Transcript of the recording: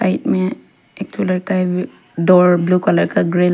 Side में एक ठो लड़का है डोर ब्लू कलर का ग्रील है।